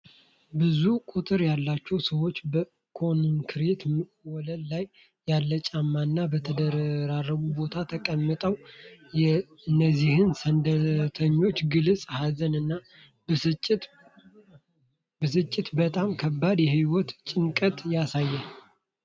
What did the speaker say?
ብዙ ቁጥር ያላቸው ሰዎች በኮንክሪት ወለል ላይ ያለ ጫማና በተደራረበ ቦታ ተቀምጠዋል። የእነዚህ ስደተኞች ግልጽ ሀዘን እና ብስጭት በጣም ከባድ የሕይወት ጭንቀትን ያሳያል።